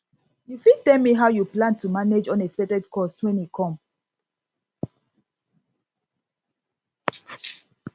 u fit tell me how you plan to manage unexpected cost wen e e come